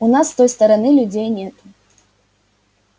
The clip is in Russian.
у нас с той стороны людей нету